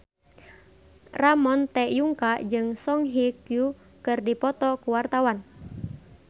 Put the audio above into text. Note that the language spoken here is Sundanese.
Ramon T. Yungka jeung Song Hye Kyo keur dipoto ku wartawan